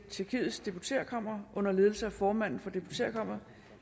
tjekkiets deputeretkammer under ledelse af formanden for deputeretkammeret